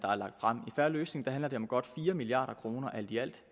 fair løsning handler det om godt fire milliard kroner alt i alt